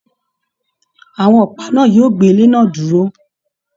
Àwọn ọpa náà yóò gbé ilé náà dúró.